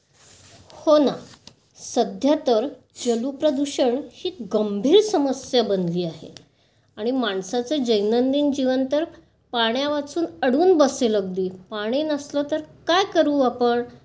हो ना. सध्या तर जल प्रदूषण ही गंभीर समस्या बनली आहे आणि माणसाचे दैनंदिन जीवन तर पाण्यावाचून अडून बसेल अगदी. पाणी नसले तर काय करू आपण...